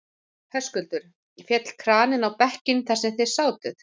Höskuldur: Féll kraninn á bekkinn þar sem þið sátuð?